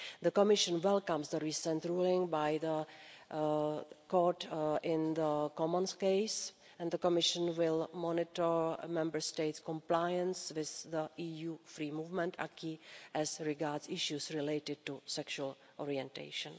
The Commission welcomes the recent ruling by the Court in the Coman case and the Commission will monitor Member States' compliance with the EU free movement acquis as regards issues related to sexual orientation.